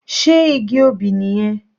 Sé igi obì nìyẹn?